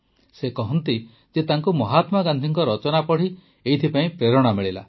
ସେ କହନ୍ତି ଯେ ତାଙ୍କୁ ମହାତ୍ମାଗାନ୍ଧୀଙ୍କ ରଚନା ପଢ଼ି ଏଥିପାଇଁ ପ୍ରେରଣା ମିଳିଲା